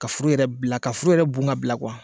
Ka foro yɛrɛ bila ka foro yɛrɛ bun k'a bila kuwa.